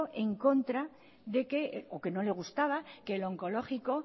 en contra de que o que no le gustaba que el onkologikoa